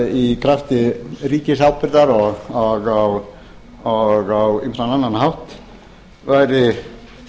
í krafti ríkisábyrgðar og á ýmsan annan hátt væri